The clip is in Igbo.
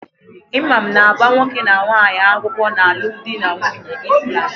Imam na-agba nwoke na nwaanyi akwukwo n'alum di na nwunye Islam